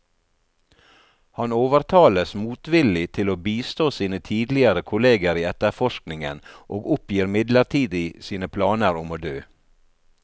Han overtales motvillig til å bistå sine tidligere kolleger i etterforskningen, og oppgir midlertidig sine planer om å dø.